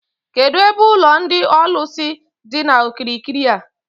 Kedụ ebe ụlọ ndị ọlụsị dị n'okirikiri a?